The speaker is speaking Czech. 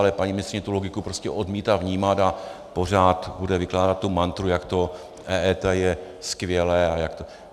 Ale paní ministryně tu logiku prostě odmítá vnímat a pořád bude vykládat tu mantru, jak to EET je skvělé.